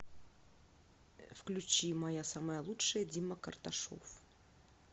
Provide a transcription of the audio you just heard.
включи моя самая лучшая дима карташов